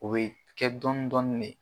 O be kɛ dɔn dɔɔni de